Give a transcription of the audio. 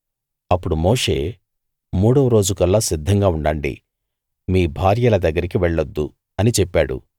అప్పుడు మోషే మూడవ రోజుకల్లా సిద్ధంగా ఉండండి మీ భార్యల దగ్గరికి వెళ్లొద్దు అని చెప్పాడు